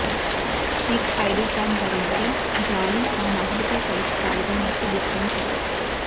neat ID card ధరించి జాలీ ఆ మహిళతో కలిసి పాల్గొన్నట్టు గుర్తించారు